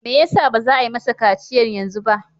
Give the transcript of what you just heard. Me yasa baza a yi masa kaciyan yanzu ba?